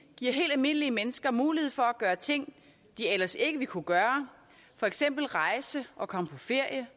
giver helt almindelige mennesker mulighed for at gøre ting de ellers ikke ville kunne gøre for eksempel rejse og komme på ferie